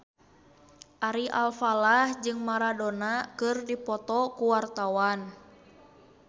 Ari Alfalah jeung Maradona keur dipoto ku wartawan